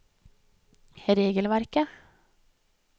regelverket